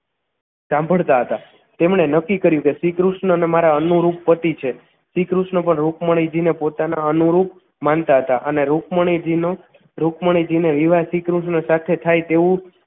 સાંભળતા હતા તેમણે નક્કી કર્યું કે શ્રીકૃષ્ણ મારા અનુરૂપ પતી છે શ્રીકૃષ્ણ પણ રુકમણીજીને પોતાના અનુરૂપ માનતા હતા અને રુકમણી જી નો રુકમણીજી ને વિવાહ શ્રીકૃષ્ણ સાથે થાય તેવું